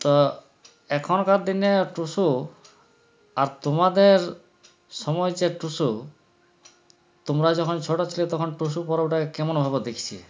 তা এখনকার দিনের টুসু আর তোমাদের সময়ের যে টুসু তোমরা যখন ছোটো ছিলে তখন টুসু পরবটা কেমন হবে দেখছি